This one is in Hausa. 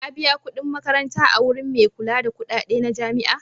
Ka biya kuɗin makaranta a wurin mai kula da kuɗaɗe na jami'a?